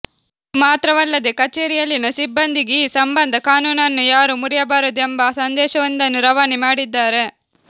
ಅದು ಮಾತ್ರವಲ್ಲದೆ ಕಛೇರಿಯಲ್ಲಿನ ಸಿಬ್ಬಂದಿಗೆ ಈ ಸಂಬಂಧ ಕಾನೂನನ್ನು ಯಾರೂ ಮುರಿಯಬಾರದು ಎಂಬ ಸಂದೇಶವೊಂದನ್ನು ರವಾನೆ ಮಾಡಿದ್ದಾರೆ